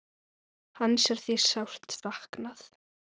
Hans er því sárt saknað.